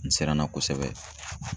N siranna ;kosɛbɛ.